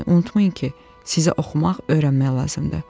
Lakin unutmayın ki, sizə oxumaq, öyrənmək lazımdır.